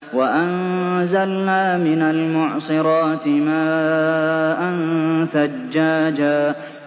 وَأَنزَلْنَا مِنَ الْمُعْصِرَاتِ مَاءً ثَجَّاجًا